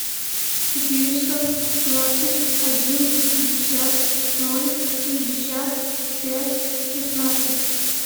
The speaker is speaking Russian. четыреста двадцать один пятьдесят ноль шестьдесят пять шестнадцать